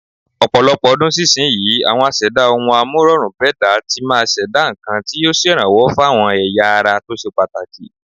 Ọ̀pọ̀lọpọ̀ ọdún sísinyìí, àwọn aṣẹ̀dá ohun-amúrọ̀rùn-bẹ́dàá tí máa ṣẹ̀dá nǹkan tí yóò ṣèrànwó fáwọn ẹ̀yà ara tó ṣe pàtàkì.